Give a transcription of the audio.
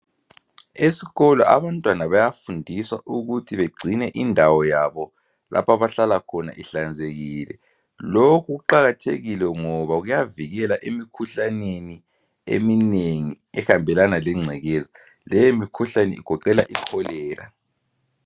Esikolo abantwana bayafundiswa ukuthi bagcine indawo yabo lapho abahlala khona ihlanzekile. Lokhu kuqakathekile ngoba kuyavikelwa emikhuhlaneni eminengi ehambelana lengcekeza ngoba leyo mikhuhlane egoqela iCholera.